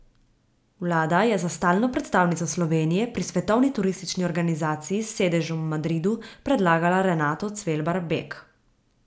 Vlada je za stalno predstavnico Slovenije pri Svetovni turistični organizaciji s sedežem v Madridu predlagala Renato Cvelbar Bek.